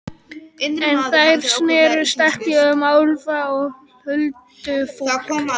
En þær snerust ekki um álfa og huldufólk.